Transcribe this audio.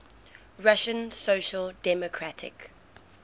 russian social democratic